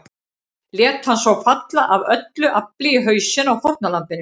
Lét hann svo falla AF ÖLLU AFLI í hausinn á fórnarlambinu.